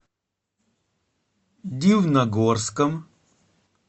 дивногорском